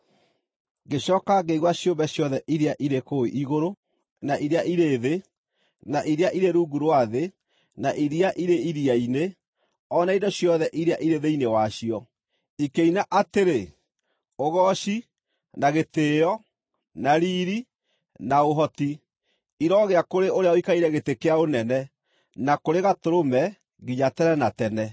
Ngĩcooka ngĩigua ciũmbe ciothe irĩ kũu igũrũ, na iria irĩ thĩ, na iria irĩ rungu rwa thĩ, na iria irĩ iria-inĩ, o na indo ciothe iria irĩ thĩinĩ wacio, ikĩina atĩrĩ: “Ũgooci, na gĩtĩĩo, na riiri, na ũhoti, irogĩa kũrĩ ũrĩa ũikarĩire gĩtĩ kĩa ũnene, na kũrĩ Gatũrũme, nginya tene na tene!”